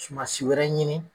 Sumansi wɛrɛ ɲini.